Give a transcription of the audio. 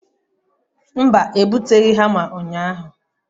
mba, ebuteghi hama unyahu